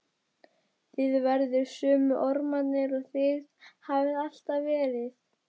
Þið verðið sömu ormarnir og þið hafið alltaf verið.